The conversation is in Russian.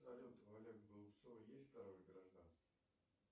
салют у олега голубцова есть второе гражданство